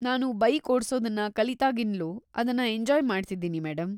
ನಾನು ಬೈಕ್‌ ಓಡ್ಸೋದನ್ನ ಕಲಿತಾಗಿಂದ್ಲೂ ಅದನ್ನ ಎಂಜಾಯ್‌ ಮಾಡ್ತಿದ್ದೀನಿ ಮೇಡಂ.